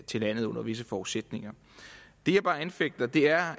til landet under visse forudsætninger det jeg bare anfægter er